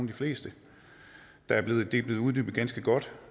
de fleste det er blevet uddybet ganske godt